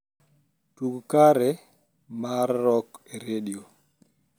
tug kare mar rock e redio